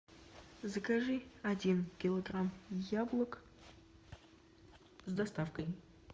закажи один килограмм яблок с доставкой